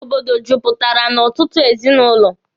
Obodo juputara n'ọtụtụ ezinụlọ.